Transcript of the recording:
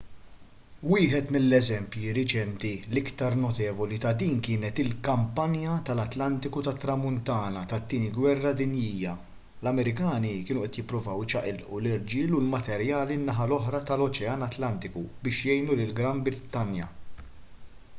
wieħed mill-eżempji reċenti l-iktar notevoli ta' dan kienet il-kampanja tal-atlantiku tat-tramuntana tat-tieni gwerra dinjija l-amerikani kienu qed jippruvaw iċaqilqu l-irġiel u l-materjali n-naħa l-oħra tal-oċean atlantiku biex jgħinu lill-gran brittanja